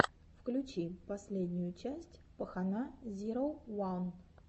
включи последнюю часть пахана зироу ван